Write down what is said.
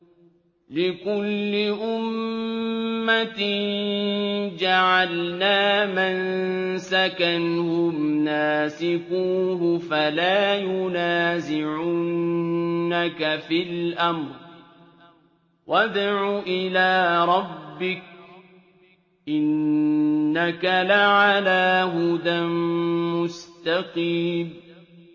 لِّكُلِّ أُمَّةٍ جَعَلْنَا مَنسَكًا هُمْ نَاسِكُوهُ ۖ فَلَا يُنَازِعُنَّكَ فِي الْأَمْرِ ۚ وَادْعُ إِلَىٰ رَبِّكَ ۖ إِنَّكَ لَعَلَىٰ هُدًى مُّسْتَقِيمٍ